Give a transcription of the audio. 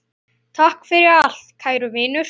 Takk fyrir allt, kæru vinir!